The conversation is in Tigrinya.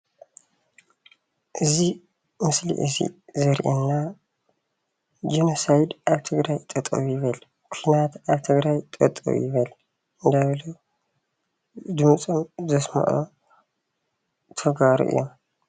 እዚ ምስሊ እዙይ ዘርእየና ጀኖሳይድ ኣብ ትግራይ ጠጠው ይበል። ኩናት አብ ትግራይ ጠጠው ይበል እንዳ በሉ ድምፆም ዘስምዑ ተጋሩ እዮም።